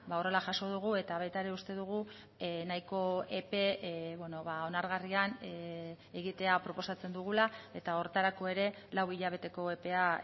horrela jaso dugu eta baita ere uste dugu nahiko epe onargarrian egitea proposatzen dugula eta horretarako ere lau hilabeteko epea